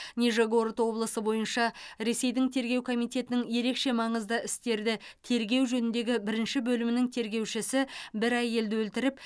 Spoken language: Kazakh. нижегород облысы бойынша ресейдің тергеу комитетінің ерекше маңызды істерді тергеу жөніндегі бірінші бөлімінің тергеушісі бір әйелді өлтіріп